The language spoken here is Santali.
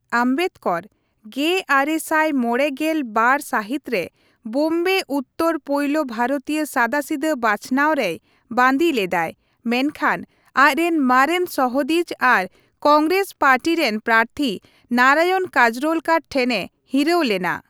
ᱟᱢᱵᱮᱫᱽᱠᱚᱨ ᱑᱙᱕᱒ ᱥᱟᱹᱦᱤᱛᱨᱮ ᱵᱳᱢᱵᱮ ᱩᱛᱛᱚᱨ ᱯᱳᱭᱞᱳ ᱵᱷᱟᱨᱚᱛᱤᱭᱟᱹ ᱥᱟᱫᱟᱥᱤᱫᱟᱹ ᱵᱟᱪᱷᱱᱟᱣᱨᱮᱭ ᱵᱟᱹᱫᱤ ᱞᱮᱫᱟᱭ, ᱢᱮᱱᱠᱷᱟᱱ ᱟᱡᱨᱮᱱ ᱢᱟᱨᱮᱱ ᱥᱚᱦᱚᱫᱤᱡᱽ ᱟᱨ ᱠᱚᱝᱜᱨᱮᱥ ᱯᱟᱨᱴᱤ ᱨᱮᱱ ᱯᱨᱟᱛᱷᱤ ᱱᱟᱨᱟᱭᱚᱱ ᱠᱟᱡᱨᱳᱞᱠᱟᱨ ᱴᱷᱮᱱᱮ ᱦᱤᱨᱟᱹᱣ ᱞᱮᱱᱟ ᱾